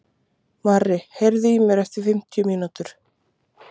Marri, heyrðu í mér eftir fimmtíu mínútur.